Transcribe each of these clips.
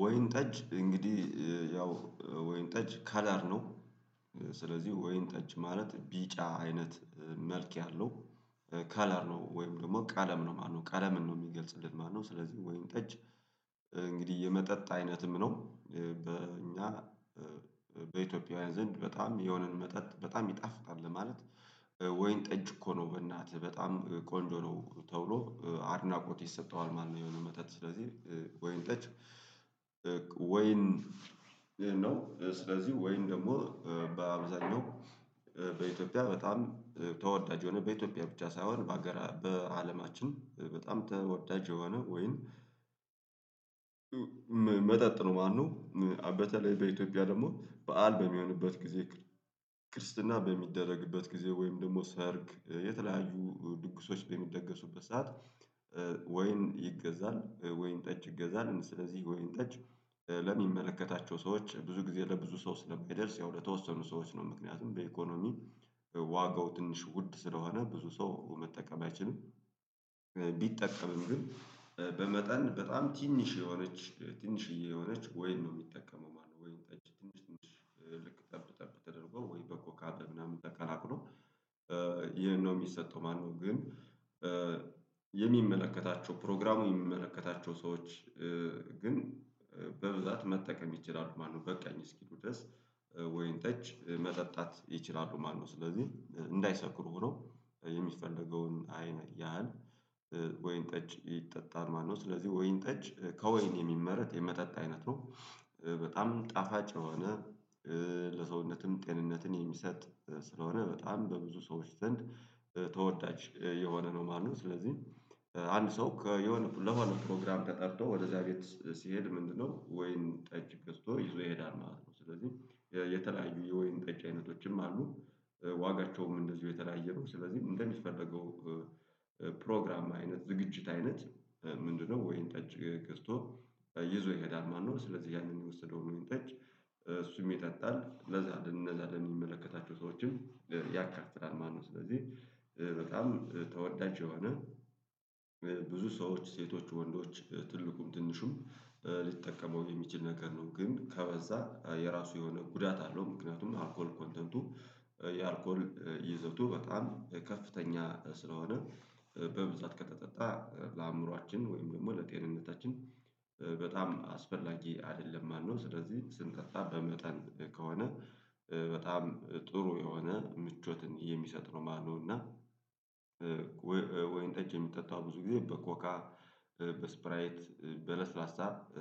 ወይን ጠጅ እንግዲህ ያው ወይን ጠጅ ከላር ነው። ስለዚህ ወይን ጠጅ ማለት ቢጫ አይነት መልክ ያለው ከለር ነው ወይም ደግሞ ቀለም ነው ማለት ነው። ቀለምን ነው የሚገልጽልን ማለት ነው። ስለዚህ ወይን ጠጅ እንግዲህ የመጠጥ አይነትም ነው። በእኛ በኢትዮጵያዊያን ዘንድ በጣም የሆነን መጠጥ በጣም ይጣፍጣል ለማለት "ወይን ጠጅ እኮ ነው በእናትህ" በጣም ቆንጆ ነው ተብሎ አድናቆት ይሰጠዋል ማለት ነው የሆነ መጠጥ ስለዚህ ወይን ጠጅ ወይን ነው። ስለዚህ ወይን ደግሞ በአብዛኛው በኢትዮጵያ በጣም ተወዳጅ የሆነ በኢትዮጵያ ብቻ ሳይሆን በሃገራ በአለማችን በጣም ተወዳጅ የሆነ ወይን መጠጥ ነው ማለት ነው። በተለይ በኢትዮጵያ ደግሞ በዓል በሚሆንበት ጊዜ፣ ክርስትና በሚደረግበት ጊዜ ወይም ደግሞ ሰርግ፣ የተለያዩ ድግሶች በሚደገሱበት ሰዓት ወይን ይገዛል ወይን ጠጅ ይገዛል ስለዚህ ወይን ጠጅ ለሚመለከታቸው ሰዎች ብዙ ጊዜ ለብዙ ሰው ስለማይደርስ ያው ለተወሰኑ ሰዎች ነው። ምክንያቱም በኢኮኖሚ ዋጋው ትንሽ ውድ ስለሆነ ብዙ ሰው መጠቀም አይችልም። ቢጠቀምም ግን በመጠን በጣም ትንሽ የሆነች ትንሽዬ የሆነች ወይን ነው የሚጠቀመው ማለት ነው። ወይን ጠጅ ትንሽ ትንሽ ልክ ጠብ ጠብ ተደርጎ ወይ በኮካ በምናምን ተቀላቅሎ ይሄን ነው የሚሰጠው ማለት ነው፤ ግን የሚመለከታቸው ፕሮግራሙ የሚመለከታቸው ሰዎች ግን በብዛት መጠቀም ይችላሉ ማለት ነው በቃኝ እስኪሉ ድረስ ወይን ጠጅ መጠጣት ይችላሉ ማለት ነው። ስለዚህ እንዳይሰክሩ ሆነው የሚፈለገውን አይነ ያህል ወይን ጠጅ ይጠጣል ማለት ነው። ስለዚህ ወይን ጠጅ ከወይን የሚመረት የመጠጥ አይነት ነው። በጣም ጣፋጭ የሆነ ለሰውነትም ጤንነትን የሚሰጥ ስለሆነ በጣም በብዙ ሰዎች ዘንድ ተወዳጅ የሆነ ነው ማለት ነው። ስለዚህ አንድ ሰው ከ የሆነ ለሆነ ፕሮግራም ተጠርቶ ወደ እዛ ቤት ሲሄድ ምንድነው ወይን ጠጅ ገዝቶ ይዞ ይሄዳል ማለት ነው። ስለዚህ የተለያዩ የወይን ጠጅ አይነቶችም አሉ። ዋጋቸውም እንደዚሁ የተያየ ነው። ስለዚህ እንደሚፈለገው ፕሮግራም አይነት ዝግጅት አይነት ምንድነው ወይን ጠጅ ገዝቶ ይዞ ይሄዳል ማለት ነው። ስለዚህ ያንን የወሰደውን ወይን ጠጅ እሱም ይጠጣል ለዛ ለነዛ ለሚመለከታቸው ሰዎችም ያካፍላል ማለት ነው። ስለዚህ በጣም ተወዳጅ የሆነ ብዙ ሰዎች ሴቶች ወንዶች ትልቁም ትንሹም ሊጠቀመው የሚችል ነገር ነው፤ ግን ከበዛ የራሱ የሆነ ጉዳት አለው። ምክንያቱም አልኮል ኮንተንቱ የአልኮል ይዘቱ በጣም ከፍተኛ ስለሆነ በብዛት ከተጠጣ ለአእምሮአችን ወይም ደግሞ ለጤንነታችን በጣም አስፈላጊ አይደለም ማለት ነው። ስለዚህ ስንጠጣ በመጠን ከሆነ በጣም ጥሩ የሆነ ምቾትን የሚሰጥ ነው ማለት ነው እና ወይን ጠጅ የሚጠጣው ብዙ ጊዜ በኮካ በስፕራይት በለስላሳ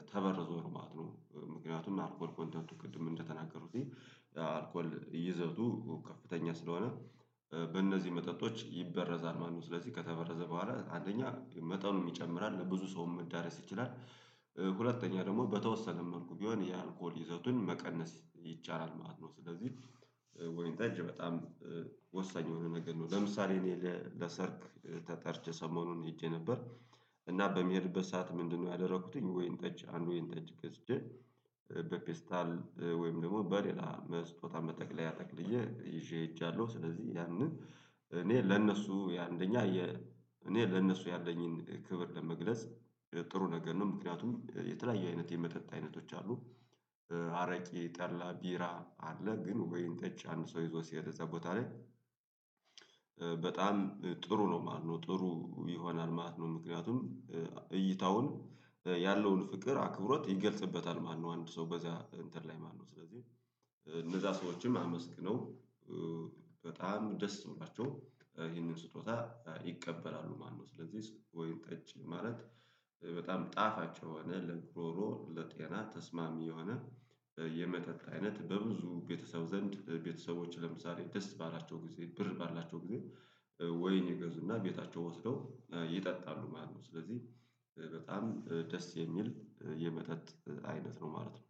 ተበርዞ ነው ማለት ነው። ምክንያቱም አልኮል ኮንተንቱ ቅድም እንደተናገሩትኝ አልኮል ይዘቱ ከፍተኛ ስለሆነ በእነዚህ መጠጦች ይበረዛል ማለት ነው። ስለዚህ ከተበረዘ በኋላ አንደኛ መጠኑም ይጨምራል፤ ለብዙ ሰውም መዳረስ ይችላል። ሁለተኛ ደግሞ በተወሰነም መልኩ ቢሆን የአልኮል ይዘቱን መቀነስ ይቻላል ማለት ነው። ስለዚህ ወይን ጠጅ በጣም ወሳኝ የሆነ ነገር ነው። ለምሳሌ እኔ ለሰርግ ተጠርቼ ሰሞኑን ሄጄ ነበር እና በምሄድበት ሰዓት ምንድነው ያደረኩትኝ ወይን ጠጅ አንድ ወይን ጠጅ ገዝቼ በፔስታል ወይም ደግሞ በሌላ በስጦታ መጠቅለያ ጠቅልዬ ይዤ ሄጃለሁ። ስለዚህ ያንን እኔ ለነሱ የአንደኛ የ እኔ ለነሱ ያለኝን ክብር ለመግለጽ ጥሩ ነገር ነው። ምክንያቱም የተለያየ አይነት የመጠጥ አይነቶች አሉ። አረቄ፣ ጠላ፣ ቢራ አለ፤ ግን ወይን ጠጅ አንድ ሰው ይዞ ሲሄድ እዛ ቦታ ላይ በጣም ጥሩ ነው ማለት ነው ጥሩ ይሆናል ማለት ነው። ምክንያቱም እይታውን ያለውን ፍቅር አክብሮት ይገልጽበታል ማለት ነው አንድ ሰው በዛ እንትን ላይ ማለት ነው። ስለዚህ እነዛ ሰዎችም አመስግነው በጣም ደስ ብሏቸው ይህንን ስጦታ ይቀበላሉ ማለት ነው። ስለዚህ ወይን ጠጅ ማለት በጣም ጣፋጭ የሆነ ለጉሮሮ ለጤና ተስማሚ የሆነ የመጠጥ አይነት በብዙ ቤተሰብ ዘንድ ቤተሰቦች ለምሳሌ ደስ ባላቸው ጊዜ ብር ባላቸው ጊዜ ወይን ይገዙና ቤታቸው ወስደው ይጠጣሉ ማለት ነው። ስለዚህ በጣም ደስ የሚል የመጠጥ አይነት ነው ማለት ነው።